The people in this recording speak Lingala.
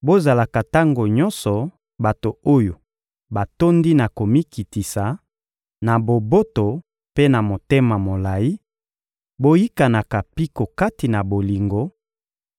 bozalaka tango nyonso bato oyo batondi na komikitisa, na boboto mpe na motema molayi; boyikanaka mpiko kati na bolingo,